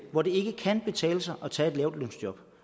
hvor det ikke kan betale sig at tage et lavtlønsjob